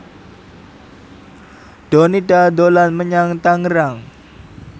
Donita dolan menyang Tangerang